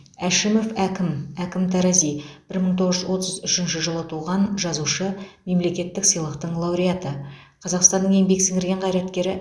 әшімов әкім әкім тарази бір мың тоғыз жүз отыз үшінші жылы туған жазушы мемлекеттік сыйлықтың лауреаты қазақстанның еңбек сіңірген қайраткері